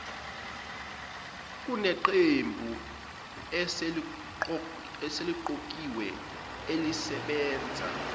kuneqembu eseliqokiwe elisebenza